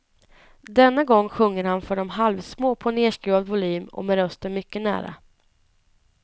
Denna gång sjunger han för de halvsmå på nerskruvad volym och med rösten mycket nära.